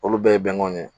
Olu bɛɛ ye bɛnkanw ye